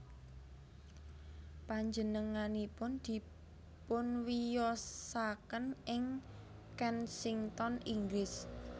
Panjenenganipun dipunwiyosaken ing Kensington Inggris